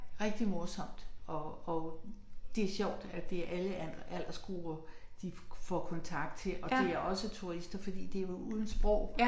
Rigtig morsomt og og det sjovt at det alle aldersgrupper de får kontakt til og det er også turister fordi det er uden sprog